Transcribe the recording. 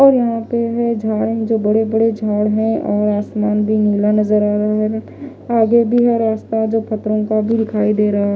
और यहाँ पे है झाड़ जो बड़े-बड़े झाड़ है और आसमान भी नीला नज़र आ रहा है और आगे भी है रास्ता जो पत्तरो का भी दिखाई दे रहा है।